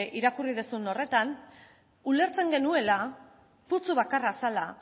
irakurri duzun horretan ulertzen genuela putzu bakarra zela